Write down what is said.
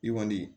I kɔni